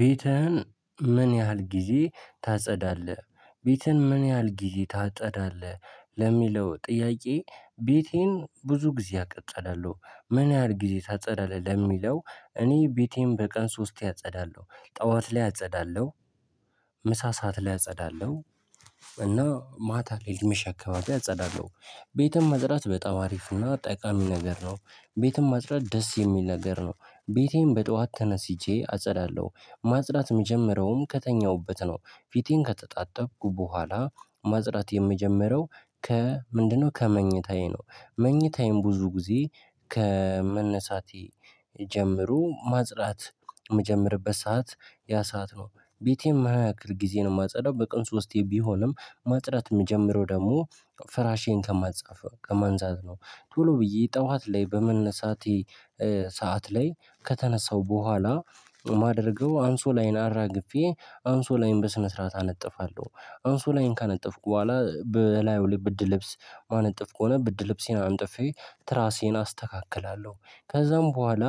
ቤትህን ምን ያህል ጊዜ ታጸዳለህ ቤትን ምን ያህል ጊዜ ታጸዳለህ? ለሚለው ጥያቄ ቤቴን ብዙ ጊዜ አጸዳለሁ። ምን ያህል ጊዜ ታጸዳለህ? ለሚለው እኔ ቤቴን በቀን ሶስቴ አጸዳለሁ ጠዋት ላይ አጸዳለሁ። ምሳ ሰዓት ላይ አጸዳለሁ። እና ማታ ሊመሽ አከባቢ አጸዳለሁ። ቤትን ማጽዳት በጣው አሪፍ እና ጠቃሚ ነገር ነው። ቤትን ማጽዳት ደስ የሚል ነገር ነው። ቤቴን በጧት ተነስቼ አጸዳለሁ ማጽዳት የምጀምረውም ከተኛሁበት ነው። ፊቴን ከተጣጠብኩ በኋላ ማጽዳት የምጀምረው ከ ምንድነው ከመኝታዬ ነው። መኝታዬም ብዙ ጊዜ ከመነሳቴ ጀምሮ ማጽዳት የምጀምርበት ሰዓት ያ ሰዓት ነው። ቤቴም የምንያክል ጊዜ ነው የማጸዳው በቀን ሶስቴ ቢሆንም ማጥረት የምጀምረው ደግሞ ፍራሼን ከማትጻፍ ከማንሳት ነው። ቶሎ ብዬ ጠዋት ላይ በመነሳቴ ሰዓት ላይ ከተነሳው በኋላ ማደርገው አንሶላዬን አራግፌ አንሶላዬን በስነ ስርዓት አነጥፋለሁ። አንሶላዬን ካነጠፍኩ በኋላ በላዩ ብርድ ልብስ የማነጥፍ ከሆነ ብርድ ልብሴን አንጥፌ ትራሴን አስተካክላለሁ። ከዛም በኋላ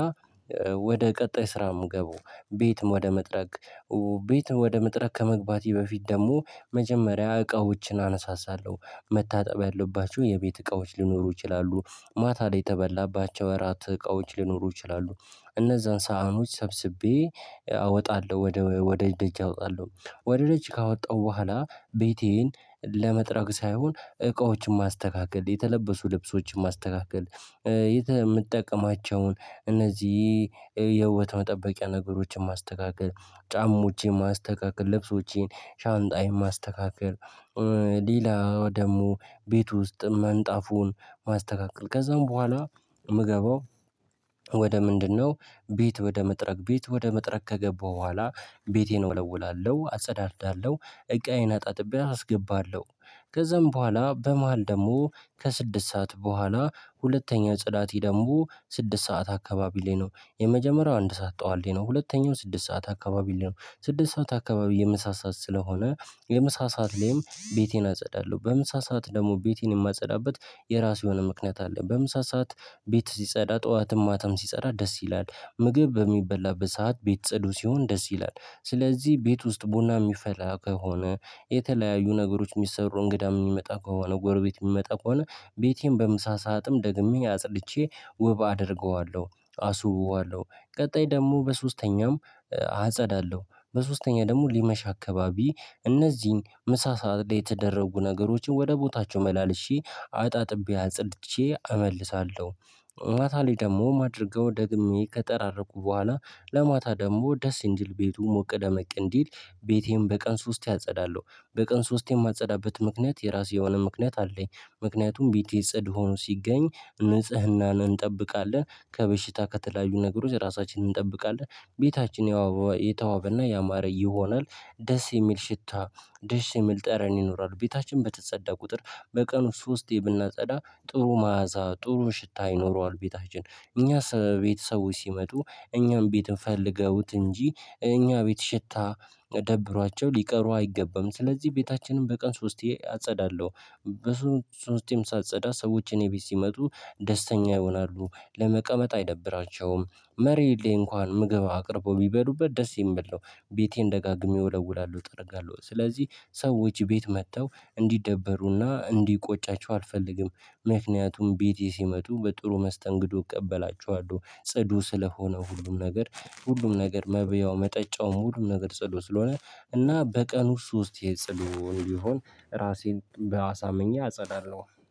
ወደ ቀጣይ ስራ የምገባው ቤት ወደ መጥረግ። ቤት ወደ መጥረግ ከመግባቴ በፊት ደግሞ መጀመሪያ እቃዎችን አነሳሳለሁ መታጠብ ያለባቸው የቤት እቃዎች ሊኖሩ ይችላሉ። ማታ ላይ የተበላባቸው እራት እቃዎች ሊኖሩ ይችላሉ እነዛን ሳህኖች ሰብስቤ አወጣለሁ ወደ ወደ ደጅ አወጣለሁ። ወደ ደጅ ካወጣሁ በኋላ ቤቴን ለመጥረግ ሳይሆን እቃዎችን ማስተካከል የተለበሱ ልብሶችን ማስተካከል። የምትጠቀማቸውን እነዚህ የውበት መጠበቂያ ነገሮችን ማስተካከል ጫማዎችን ማስተካከል ልብሶቼን ሻንጣዬን ማስተካከል። ሌላ ደግሞ ቤት ውስጥ ምንጣፉን ማስተካከል ከዛም በኋላ የምገባው ወደ ምንድነው ቤት ወደ መጥረግ ቤት ወደ መጥረግ ከገባሁ በኋላ ቤቴን እወለውላለሁ አጸዳዳለሁ። እቃዬን አጣጥቤ አስገባለሁ ከዛም በኋላ በመሃል ደግሞ ከስድስት ሰዓት በኋላ ሁለተኛው ጽዳቴ ደግሞ ስድስት ሰዓት አካባቢ ላይ ነው። የመጀመሪያው አንድ ሰዓት ጠዋት ላይ ነው ሁለተኛው ስድስት ሰዓት አካባቢ ላይ ነው ስድስት ሰዓት አካባቢ የምሳ ሰዓት ስለሆነ። የምሳ ሰዓት ላይም ቤቴን አጸዳለሁ በምሳ ሰዓት ደግሞ ቤቴን የማጸዳበት የራሱ የሆነ ምክንያት አለ። በምሳ ሰዓት ቤት ሲጸዳ ጠዋትም ማተም ሲጸዳ ደስ ይላል። ምግብ በሚበላበት ሰዓት ቤት ጸዱ ሲሆን ደስ ይላል ስለዚህ ቤት ውስጥ ቡና የሚፈላ ከሆነ። የተለያዩ ነገሮች የሚሰሩ እንግዳ የሚመጣ ከሆነ ጎርቤት የሚመጣ ከሆነ ቤቴን በምሳ ሰዓትም ደግሜ አጽድቼ ውብ አደርገዋለሁ። አስውበዋለሁ ቀጣይ ደግሞ በሶስተኛውም አጸዳለሁ። በሶስተኛ ደግሞ ሊመሽ አካባቢ እነዚህን ምሳ ሰዓት ላይ የተደረጉ ነገሮችን ወደ ቦታቸው መላልሼ አጣጥቤ አጽድቼ እመልሳለሁ። ማታ ላይ ደግሞ ማደርገው ደግሜ ከጠራረኩ በኋላ ለማታ ደግሞ ደስ እንዲል ቤቱ ሞቅ ደመቅ እንዲል። ቤቴን በቀን ሶስቴ አጸዳለሁ በቀን ሶስቴ የማጸዳበት ምክንያት የራሴ የሆነ ምክንያት አለኝ። ምክንያቱም ቤቴ ጽዱ ሆኖ ሲገኝ ንጽህናን እንጠብቃለን ከበሽታ ከተለያዩ ነገሮች ራሳችንን እንጠብቃለን። ቤታችን የተዋበና ያማረ ይሆናል። ደስ የሚል ሽታ ደስ የሚል ጠረን ይኖራሉ ቤታችን በተጸዳ ቁጥር። በቀኑ ሶስቴ ብናጸዳ ጥሩ መዓዛ ጥሩ ሽታ ይኖረዋል። ቤታችን እኛ ቤተሰቦች ሲመጡ እኛም ቤት ፈልገውት እንጂ እኛ ቤት ሽታ ደብሯቸው ሊቀሩ አይገባም ስለዚህ ቤታችንን በቀን ሶስቴ አጸዳለሁ። በሶስቴም ሳጸዳ ሰዎች እኔ ቤት ሲመጡ ደስተኛ ይሆናሉ ለመቀመጥ አይደብራቸውም። መሬት ላይ እንኳን ምግብ አቅርበው ቢበሉበት ደስ የሚል ነው። ቤቴን ደጋግሜ እወለውላለሁ እጠርጋለሁ ስለዚህ ሰዎች ቤት መጥተው እንዲደበሩና እንዲቆጫቸው አልፈልግም። ምክንያቱም ቤቴ ሲመጡ በጥሩ መስተንግዶ እቀበላችኋለሁ ጽዱ ስለሆነ ሁሉም ነገር። ሁሉም ነገር መብያው መጠጫው ሁሉም ነገር ጽዱ ስለሆነ። እና በቀን ውስጥ ሶስቴ ጽዱ ቢሆን ራሴን በአሳምኜ አጸዳለሁ